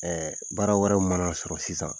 Ɛɛ baara wɛrɛw mana sɔrɔ sisan